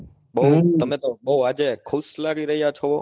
બહુ તમે તો બહુ આજે ખુશ લાગી રહ્યા છો